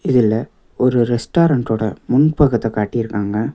இதுல ஒரு ரெஸ்டாரன்ட்டோட முன்பக்கத்த காட்டிருக்காங்க.